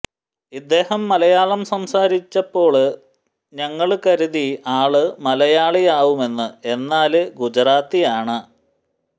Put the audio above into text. ഇദ്ദേഹം മലയാളം സംസാരിച്ചപ്പോള് ഞങ്ങള് കരുതി ആള് മലയാളിയാവുമെന്ന് എന്നാല് ഗുജറാത്തിയാണ്